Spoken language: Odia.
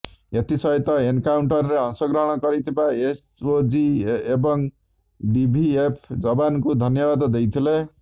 ଏଥିସହିତ ଏନ୍କାଉଣ୍ଟରରେ ଅଂଶଗ୍ରହଣ କରିଥିବା ଏସ୍ଓଜି ଏବଂ ଡିଭିଏଫ୍ ଯବାନଙ୍କୁ ଧନ୍ୟବାଦ ଦେଇଥିଲେ